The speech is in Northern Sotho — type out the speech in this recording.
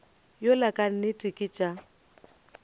yola ka nnete ke tša